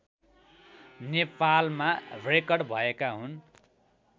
नेपालमा रेकर्ड भएका हुन्